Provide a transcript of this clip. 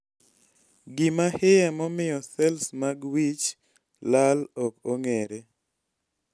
gima hie momiyo sels mag wich lal ok ong'ere